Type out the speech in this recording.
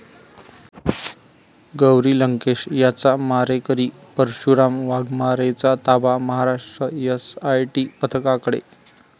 गौरी लंकेश यांचा मारेकरी परशुराम वाघमारेचा ताबा महाराष्ट्र एसआयटी पथकाकडे